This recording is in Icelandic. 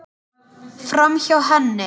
Framhjá henni.